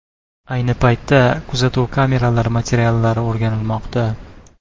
Ayni paytda kuzatuv kameralari materiallari o‘rganilmoqda.